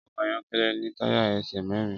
Ọkọ̀ ayọ́kẹ́lẹ́ ní táyà ẹsẹ̀ mẹ́rin.